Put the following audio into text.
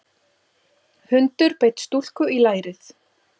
Hundur beit stúlku í lærið